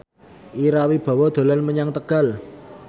Ira Wibowo dolan menyang Tegal